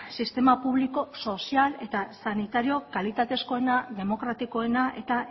sistema publiko sozial eta sanitario kalitatezkoena demokratikoena eta